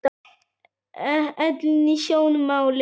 Ellin í sjónmáli.